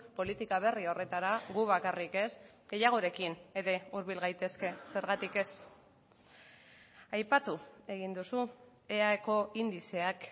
politika berri horretara gu bakarrik ez gehiagorekin ere hurbil gaitezke zergatik ez aipatu egin duzu eaeko indizeak